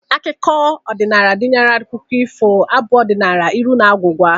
Akụkọ odịnaala gụnyere akụkọ ifo, abụ ọdịnaala, ilu na agwụgwa